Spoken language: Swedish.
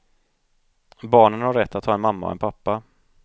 Barnen har rätt att ha en mamma och en pappa.